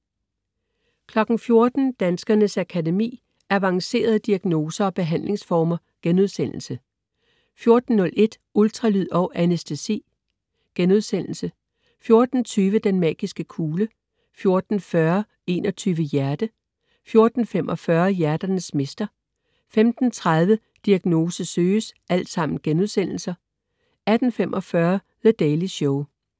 14.00 Danskernes Akademi: Avancerede diagnoser og behandlingsformer* 14.01 Ultralyd og anæstesi* 14.20 Den magiske kugle* 14.40 21 Hjerte* 14.45 Hjerternes mester* 15.30 Diagnose søges* 18.45 The Daily Show*